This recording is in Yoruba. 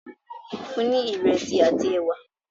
fún ní iresi àti ẹwà!